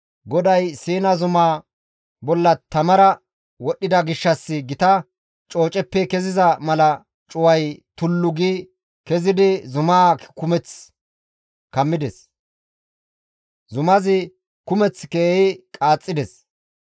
GODAY Siina zumaa bolla tamara wodhdhida gishshas gita cooceppe keziza mala cuway tullu gi kezidi zumaa kumeth kammides; zumazi kumeth keehi qaaxxides.